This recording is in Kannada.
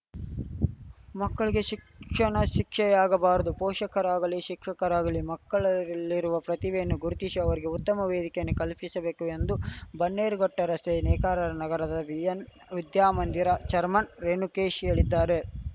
ಮಕ್ಕಳಿಗೆ ಶಿಕ್ಷಣ ಶಿಕ್ಷೆಯಾಗಬಾರದು ಪೋಷಕರಾಗಲಿ ಶಿಕ್ಷಕರಾಗಲಿ ಮಕ್ಕಳಲ್ಲಿರುವ ಪ್ರತಿಭೆಯನ್ನು ಗುರುತಿಸಿ ಅವರಿಗೆ ಉತ್ತಮ ವೇದಿಕೆಯನ್ನು ಕಲ್ಪಿಸಬೇಕು ಎಂದು ಬನ್ನೇರುಘಟ್ಟರಸ್ತೆಯ ನೇಕಾರರ ನಗರದ ಎನ್‌ಬಿಎನ್‌ ವಿದ್ಯಾ ಮಂದಿರ ಛೇರ್ಮನ್‌ ರೇಣುಕೇಶ್‌ ಹೇಳಿದ್ದಾರೆ